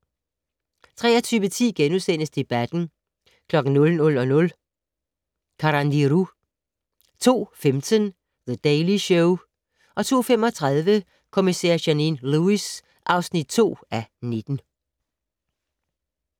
23:10: Debatten * 00:00: Carandiru 02:15: The Daily Show 02:35: Kommissær Janine Lewis (2:19)